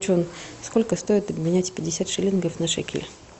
сколько стоит обменять пятьдесят шиллингов на шекель